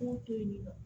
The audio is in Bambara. K'o to yen nɔ